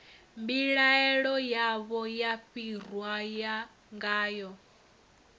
mbilaelo yavho ya fariwa ngayo